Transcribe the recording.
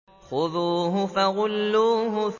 خُذُوهُ فَغُلُّوهُ